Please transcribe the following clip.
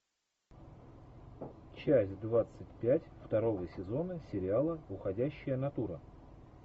часть двадцать пять второго сезона сериала уходящая натура